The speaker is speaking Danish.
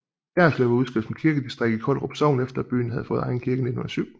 Fjerritslev var udskilt som kirkedistrikt i Kollerup Sogn efter at byen havde fået egen kirke i 1907